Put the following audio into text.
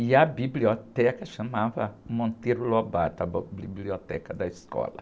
E a biblioteca chamava Monteiro Lobato, a bo, biblioteca da escola.